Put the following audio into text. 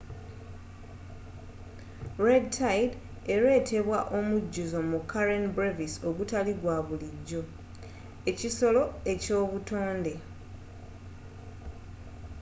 red tide eretebwa omujjuzo mu karen brevis ogutali gwa bulijjo ekisolo eky'obutonde